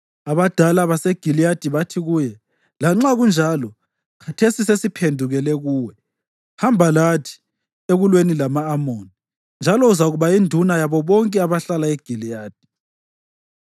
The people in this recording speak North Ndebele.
Abadala baseGiliyadi bathi kuye, “Lanxa kunjalo, khathesi sesiphendukela kuwe; hamba lathi ekulweni lama-Amoni, njalo uzakuba yinduna yabo bonke abahlala eGiliyadi.”